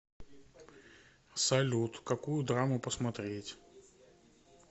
салют какую драму посмотреть